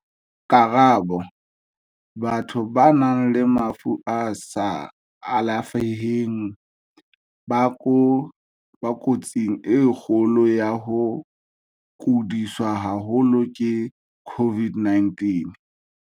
Karabo- Batho ba nang le mafu a sa alafeheng ba ko tsing e kgolo ya ho kodiswa haholo ke COVID-19.